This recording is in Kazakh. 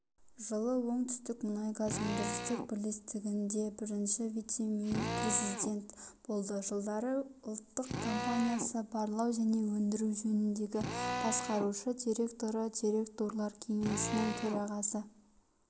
жылы оңтүстік мұнайгаз өндірістік бірлестігінде бірінші вице-президен болды жылдары ұлттық компаниясы барлау және өндіру жөніндегі басқарушы директоры директорлар кеңесінің төрағасы